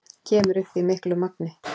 Kemur upp í miklu magni.